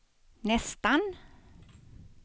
nästan